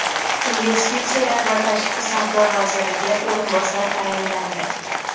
Investitsiyalar va tashqi savdo vaziriga o‘rinbosar tayinlandi.